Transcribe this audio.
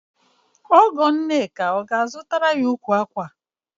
Ọgọ Nneka ọ ga-azụtara ya ukwu ákwà?